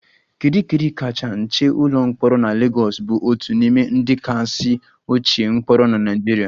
Kirikiri kacha nche ụlọ mkpọrọ na Lagos bụ otu n'ime ndị kasị ochie mkpọrọ na Nigeria